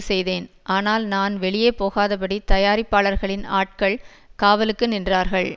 செய்தேன் ஆனால் நான் வெளியே போகாதபடி தயாரிப்பாளர்களின் ஆட்கள் காவலுக்கு நின்றார்கள்